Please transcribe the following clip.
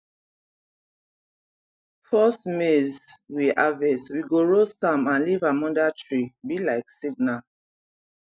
first maize we harvest we go roast am and leave am under treee be like signal